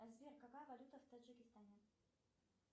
сбер какая валюта в таджикистане